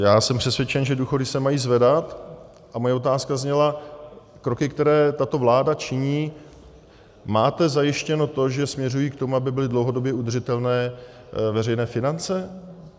Já jsem přesvědčen, že důchody se mají zvedat, a moje otázka zněla: kroky, které tato vláda činí - máte zajištěno to, že směřují k tomu, aby byly dlouhodobě udržitelné veřejné finance?